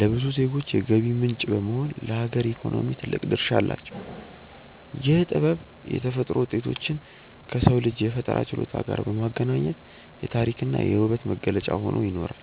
ለብዙ ዜጎች የገቢ ምንጭ በመሆን ለሀገር ኢኮኖሚ ትልቅ ድርሻ አላቸው። ይህ ጥበብ የተፈጥሮ ውጤቶችን ከሰው ልጅ የፈጠራ ችሎታ ጋር በማገናኘት የታሪክና የውበት መገለጫ ሆኖ ይኖራል።